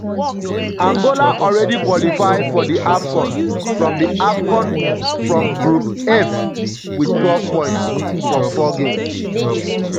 angola already qualify for di afcon from di afcon from group um f wit twelve points from 4 games.